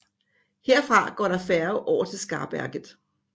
Herfra går der færge over til Skarberget